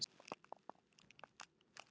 Ha- ha.